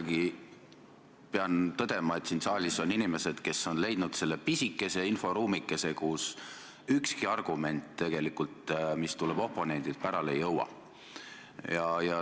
Ma pean ikkagi tõdema, et siin saalis on inimesed, kes on leidnud selle pisikese inforuumikese, kus ükski argument, mis tuleb oponendilt, pärale ei jõua.